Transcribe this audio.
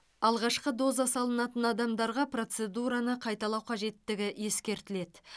алғашқы доза салынатын адамдарға процедураны қайталау қажеттігі ескертіледі